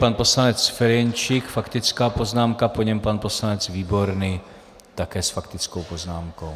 Pan poslanec Ferjenčík, faktická poznámka, po něm pan poslanec Výborný také s faktickou poznámkou.